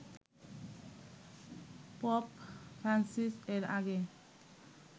pope Francis এর আগে